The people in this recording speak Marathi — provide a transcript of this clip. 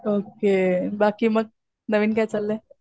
ओके. बाकी मग नवीन काय चाललंय?